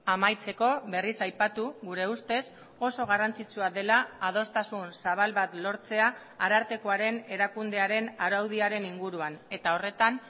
amaitzeko berriz aipatu gure ustez oso garrantzitsua dela adostasun zabal bat lortzea arartekoaren erakundearen araudiaren inguruan eta horretan